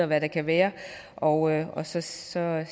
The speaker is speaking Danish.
hvad der kan være og og så ser jeg